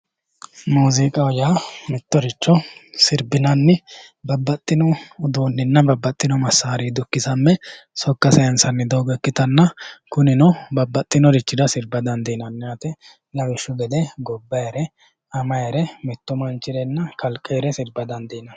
Muziiqaho yaa mittoricho sirbinanni Babbaxxino uduunninna Babbaxxino massarinni dukkisamme sokka sayiinsanni doogo ikkitanna kunino babbaxeyoorira sirba dandiinanni yaate lawishshu gede gobbayiire amayiire mittu manchirenna kalqeere sirba dandiinanni